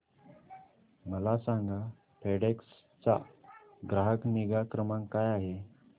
मला सांगा फेडेक्स चा ग्राहक निगा क्रमांक काय आहे